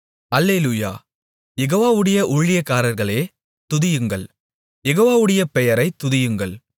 அல்லேலூயா யெகோவாவுடைய ஊழியக்காரர்களே துதியுங்கள் யெகோவாவுடைய பெயரைத் துதியுங்கள்